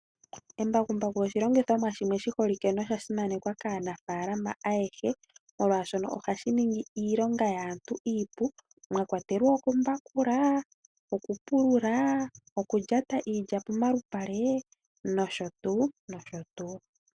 Embakuku oshi longitho mwa shoka shasimanekwa kaanafalama ayehe molwashono ohashiningi iilonga yaantu iipu oshowo okumbakula.